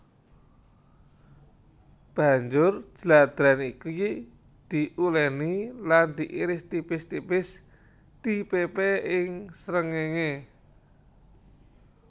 Banjur jladrèn iki diulèni lan diiris tipis tipis dipépé ing srengéngé